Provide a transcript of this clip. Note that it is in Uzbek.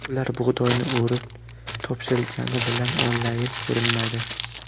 Ular bug‘doyni o‘rib, topshirgani bilan onlaynda ko‘rinmaydi.